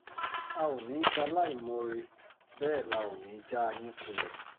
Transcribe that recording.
a ò ní í ṣaláìmoore bẹ́ẹ̀ la ò ní í já yín kulẹ̀